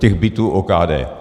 Těch bytů OKD.